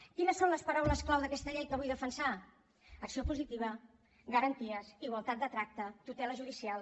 quines són les paraules clau d’aquesta llei que vull defensar acció positiva garanties igualtat de tracte tutela judicial